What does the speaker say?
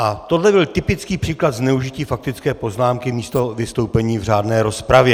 A tohle byl typický příklad zneužití faktické poznámky místo vystoupení v řádné rozpravě.